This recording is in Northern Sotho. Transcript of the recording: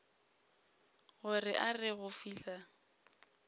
gore a re go fihla